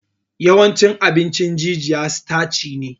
Yawancin abin jijiya sitaci ne